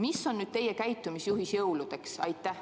Mis on teie käitumisjuhis jõuludeks?